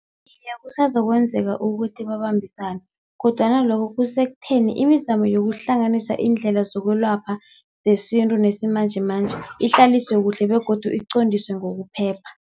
Iye, kusazokwenzeka ukuthi babambisane kodwana lokho kusekutheni imizamo yokuhlanganisa iindlela zokwelapha zesintu nesimanjemanje ihlaliswe kuhle begodu iqondiswe ngokuphepha.